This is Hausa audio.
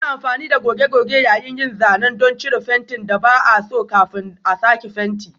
Ana amfani da goge-goge yayin yin zanen don cire fentin da ba a so kafin a sake fenti.